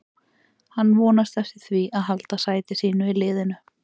Hann vonast eftir því að halda sæti sínu í liðinu.